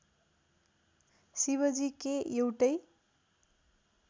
शिवजी के एउटै